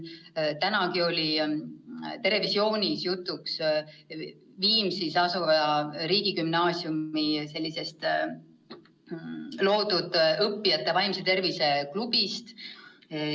Täna oli "Terevisioonis" jutuks Viimsis asuva riigigümnaasiumi loodud õppijate vaimse tervise klubi.